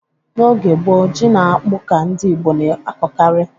N'oge gboo, ji na akpụ ka ndị Igbo na-akọkarị.